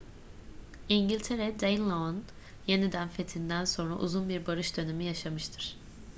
i̇ngiltere danelaw'un yeniden fethinden sonra uzun bir barış dönemi yaşamıştır